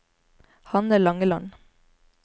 Hanne Langeland